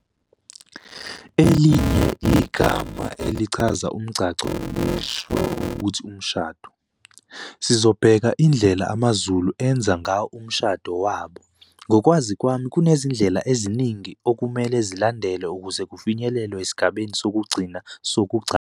Elinye igama elichaza umgcagco lisho ukuthi umshado. Sizobheka indlela ama Zulu ayenza ngawo umshado wabo ngokwazi kwami kunezindlela eziningi ukumele zilandelwe ukuze kufinyelelwe esigabeni sokugcina sokugcagca.